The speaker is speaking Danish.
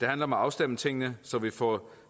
det handler om at afstemme tingene så vi får